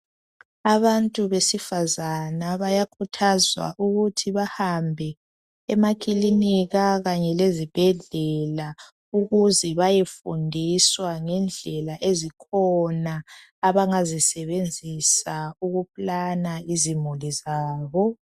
Abantu besifazana bayakhuthazwa ukuthi bahambe emakilinika kanye lezibhedlela ukuze bayefundiswa ngendlela ezikhona, abangazisebenzisa ukuplana izimuli zabo.